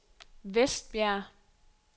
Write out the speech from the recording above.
Vestbjerg